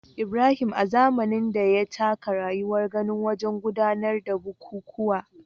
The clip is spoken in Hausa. Ibrahim, a zamanin da, ya taka rawar gani wajen gudanar da bukukuwa